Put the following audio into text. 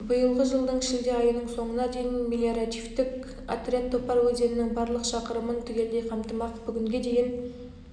биылғы жылдың шілде айының соңына дейін мелиоративтік отряд топар өзенінің барлық шақырымын түгелдей қамтымақ бүгінге дейін